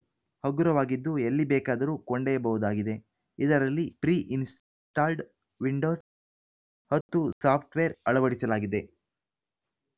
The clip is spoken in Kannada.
ಹಗುರವಾಗಿದ್ದು ಎಲ್ಲಿಬೇಕಾದರೂ ಕೊಂಡೊಯ್ಯಬಹುದಾಗಿದೆ ಇದರಲ್ಲಿ ಪ್ರೀ ಇನ್‌ಸ್ಟಾಲ್ಡ್‌ ವಿಂಡೋಸ್‌ ಹತ್ತು ಸಾಫ್ಟ್‌ವೇರ್‌ ಅಳವಡಿಸಲಾಗಿದೆ